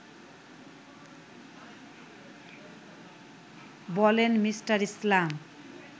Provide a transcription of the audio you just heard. বলেন মি. ইসলাম